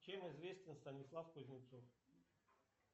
чем известен станислав кузнецов